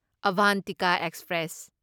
Avantika express